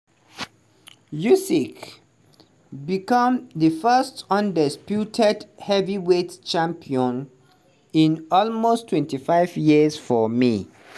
usyk become di first undisputed heavyweight champion in almost 25 years for may.